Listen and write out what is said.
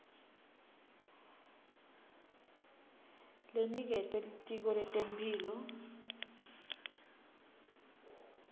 leniketwe litiko letemphilo